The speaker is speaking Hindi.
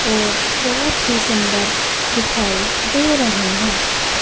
और बहुत ही सुंदर दिखाई दे रहे हैं।